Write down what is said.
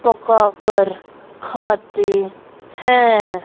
पकाकर खाते हैं।